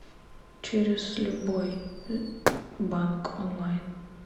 через любой банк онлайн